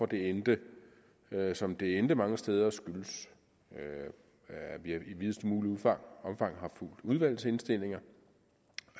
det endte som det endte mange steder er at vi i videst muligt omfang har fulgt udvalgets indstillinger